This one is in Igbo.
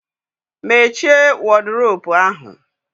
Mmeche wọdiropu ahu